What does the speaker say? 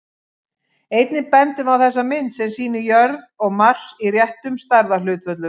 Einnig bendum við á þessa mynd, sem sýnir jörð og Mars í réttum stærðarhlutföllum.